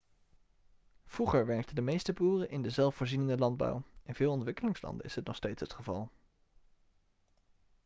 vroeger werkten de meeste boeren in de zelfvoorzienende landbouw in veel ontwikkelingslanden is dit nog steeds het geval